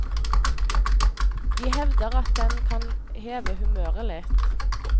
De hevder at den kan heve humøret litt.